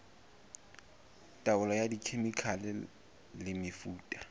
taolo ka dikhemikhale le mefuta